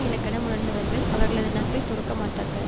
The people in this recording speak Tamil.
இலக்கணம் உணர்ந்தவர்கள் அவர்களது நட்பை துறக்க மாட்டார்கள்